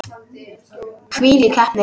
Hvílík heppni!